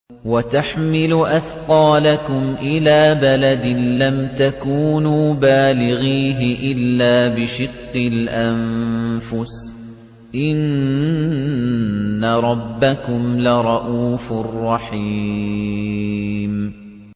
وَتَحْمِلُ أَثْقَالَكُمْ إِلَىٰ بَلَدٍ لَّمْ تَكُونُوا بَالِغِيهِ إِلَّا بِشِقِّ الْأَنفُسِ ۚ إِنَّ رَبَّكُمْ لَرَءُوفٌ رَّحِيمٌ